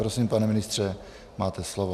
Prosím, pane ministře, máte slovo.